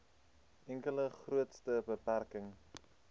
enkele grootste beperking